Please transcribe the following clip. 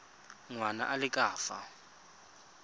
ngwana a le ka fa